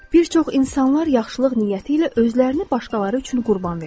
Bir çox insanlar yaxşılıq niyyəti ilə özlərini başqaları üçün qurban verir.